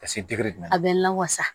Ka se ma a bɛ lawasa